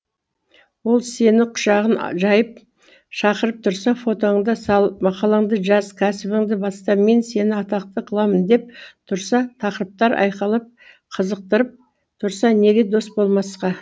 ол сені құшағын жайып шақырып тұрса фотоңды сал мақалаңды жаз кәсібіңді баста мен сені атақты қыламын деп тұрса тақырыптар айқайлап қызықтырып тұрса неге дос болмасқа